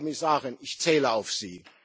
Frau Kommissarin, ich zähle auf Sie!